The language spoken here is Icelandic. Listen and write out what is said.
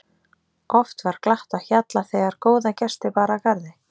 Oft var glatt á hjalla þegar góða gesti bar að garði.